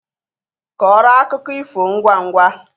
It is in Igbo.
Kọọrọ akụkọ ifo ngwangwa